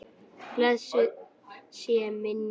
Blessuð sé minning ykkar.